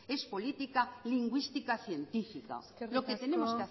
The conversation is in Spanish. es política lingüística científica lo que tenemos